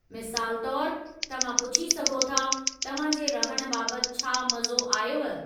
मिसालु तौर, तव्हां पुछी सघो था, 'तव्हां जे रहण बाबति छा मज़ो आयव?'